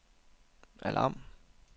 alarm